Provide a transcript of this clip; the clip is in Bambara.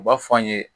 U b'a fɔ an ye